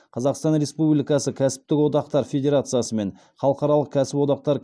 қазақстан республикасы кәсіптік одақтар федерациясы мен халықаралық кәсіподақтар